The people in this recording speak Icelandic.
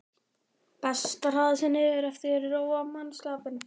Best að hraða sér niður eftir og róa mannskapinn.